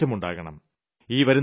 ഈ അവസ്ഥയ്ക്ക് മാറ്റം ഉണ്ടാകണം